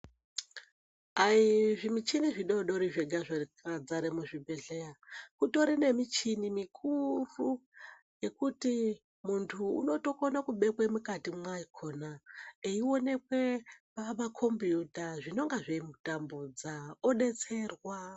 Aizvimichini zvidodori zvega zvakadzare muchibhedhleya kutori nemuchini mikuru yekuti muntu unotokone kubekwe mukati mwakona eionekwe pamakombiyuta zvinenge zveimutambudza odetserwa.